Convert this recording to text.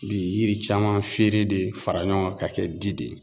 Bi yiri caman feere de fara ɲɔgɔn kan ka kɛ di de ye